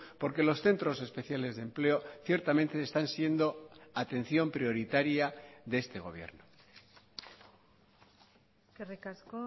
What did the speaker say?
porque los centros especiales de empleo ciertamente están siendo atención prioritaria de este gobierno eskerrik asko